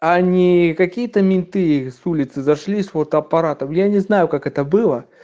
они какие-то менты с улицы зашли с фотоаппаратом я не знаю как это было